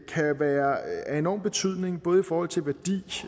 kan være af enorm betydning både i forhold til værdi